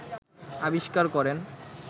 আবিষ্কার করেন